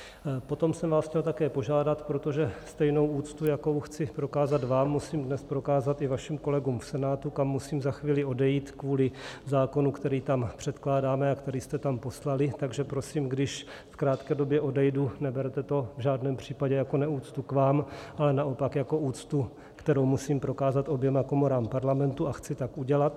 Potom jsem vás chtěl také požádat, protože stejnou úctu, jakou chci prokázat vám, musím dnes prokázat i vašim kolegům v Senátu, kam musím za chvíli odejít kvůli zákonu, který tam předkládáme a který jste tam poslali, takže prosím, když v krátké době odejdu, neberte to v žádném případě jako neúctu k vám, ale naopak jako úctu, kterou musím prokázat oběma komorám Parlamentu, a chci tak udělat.